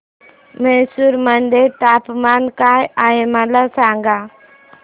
म्हैसूर मध्ये तापमान काय आहे मला सांगा